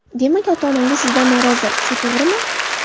Demak, ota-onangiz sizdan norozi, shu to‘g‘rimi?